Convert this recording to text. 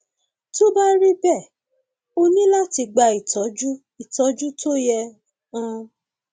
tó bá rí bẹẹ o ní láti gba ìtọjú ìtọjú tó yẹ um